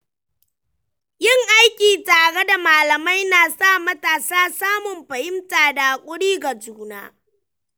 Yin aiki tare da malamai na sa matasa samun fahimta da haƙuri ga juna.